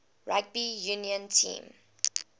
rugby union team